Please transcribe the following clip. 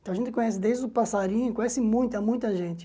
Então a gente conhece desde o passarinho, conhece muita, muita gente.